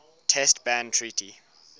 test ban treaty